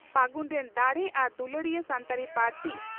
ᱯᱷᱟᱹᱜᱩᱱ ᱨᱮᱱ ᱫᱟᱲᱮ ᱟᱨ ᱫᱩᱞᱟᱹᱲᱤᱭᱟᱹ ᱥᱟᱱᱛᱟᱲᱤ ᱯᱟᱹᱨᱥᱤ